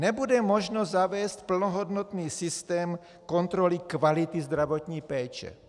Nebude možno zavést plnohodnotný systém kontroly kvality zdravotní péče.